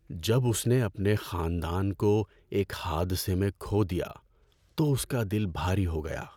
جب اس نے اپنے خاندان کو ایک حادثے میں کھو دیا تو اس کا دل بھاری ہو گیا۔